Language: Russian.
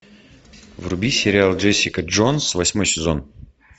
вруби сериал джессика джонс восьмой сезон